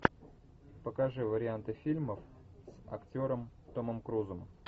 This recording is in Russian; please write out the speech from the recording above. покажи варианты фильмов с актером томом крузом